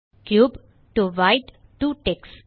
cube to white to Tex